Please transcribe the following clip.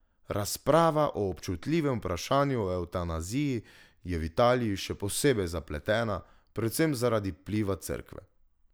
Razprava o občutljivem vprašanju o evtanaziji je v Italiji še posebej zapletena, predvsem zaradi vpliva cerkve.